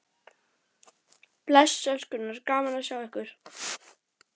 Bless elskurnar, gaman að sjá ykkur!